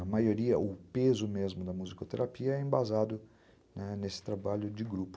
A maioria, o peso mesmo da musicoterapia é embasado nesse trabalho de grupo.